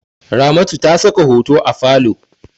Ramatu ta saka hoto a falo.